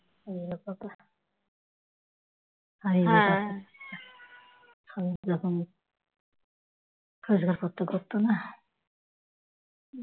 স্বামী যখন রোজগারপত্র করত না